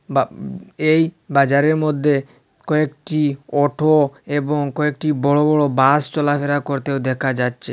বাব এই বাজারের মধ্যে কয়েকটি অটো এবং কয়েকটি বড় বড় বাস চলাফেরা করতে দেখা যাচ্ছে।